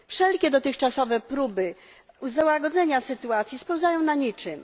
Wszelkie dotychczasowe próby złagodzenia sytuacji spełzają na niczym.